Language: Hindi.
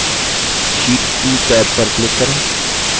sheet 2 टैब पर click करें